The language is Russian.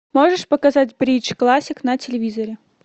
можешь показать бридж классик на телевизоре